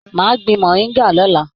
Máa gbin mọ̀ríngà lọ̀la.